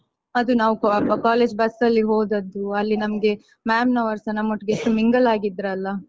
ಅದು ನಾವು college bus ಲ್ಲಿ ಹೋದದ್ದು ಅಲ್ಲಿ ನಮ್ಗೆ ma'am ನವರುಸ ನಮ್ಮೊಟ್ಟಿಗೆ ಎಷ್ಟು mingle ಆಗಿದ್ರಲ್ಲ.